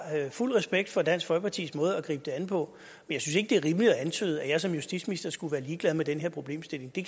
fuld respekt for dansk folkepartis måde at gribe det an på jeg synes ikke det er rimeligt at antyde at jeg som justitsminister skulle være ligeglad med den her problemstilling det